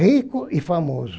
Rico e famoso.